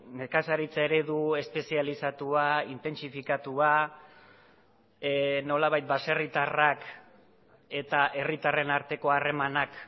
nekazaritza eredu espezializatua intentsifikatua nolabait baserritarrak eta herritarren arteko harremanak